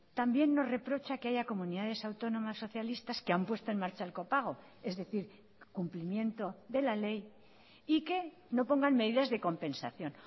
también nos reprocha que haya comunidades autónomas socialistas que han puesto en marcha el copago es decir cumplimiento de la ley y que no pongan medidas de compensación